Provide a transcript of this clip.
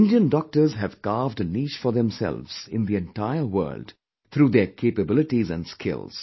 Indian doctors have carved a niche for themselves in the entire world through their capabilities and skills